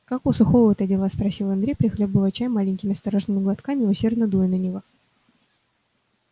как у сухого-то дела спросил андрей прихлёбывая чай маленькими осторожными глотками и усердно дуя на него